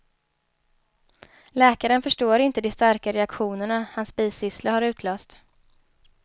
Läkaren förstår inte de starka reaktionerna hans bisyssla har utlöst.